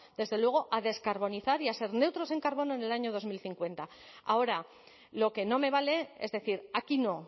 desde luego a descarbonizar y a ser neutros en carbono en el año dos mil cincuenta ahora lo que no me vale es decir aquí no